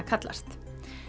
kallast